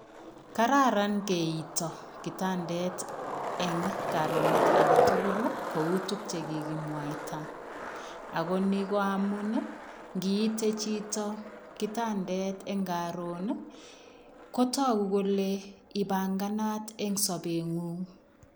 Kararan keitaah kitandeet eng karoneet age tugul ii ko uu ole kikimwaita ago Mii ko amuun ngiite chitoo kitandeet eng karoon ii kotaguu kole ipanganaat eng sabet nguung.